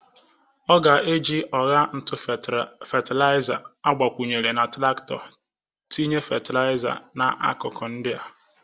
Ọ ga-eji ọgha ntụ fetelịza agbakwunyere na trakito tinye fetelịza n'akụkụ ndị a.